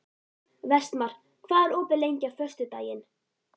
Vestmar, hvað er opið lengi á föstudaginn?